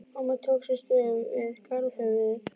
Mamma tók sér stöðu við garðahöfuðið.